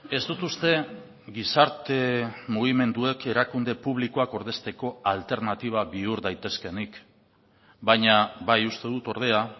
ez dut uste gizarte mugimenduek erakunde publikoak ordezteko alternatiba bihur daitezkeenik baina bai uste dut ordea